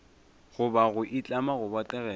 goba go itlama go botegela